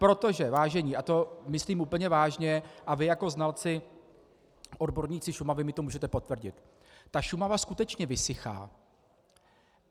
Protože, vážení, a to myslím úplně vážně, a vy jako znalci, odborníci Šumavy, mi to můžete potvrdit, ta Šumava skutečně vysychá.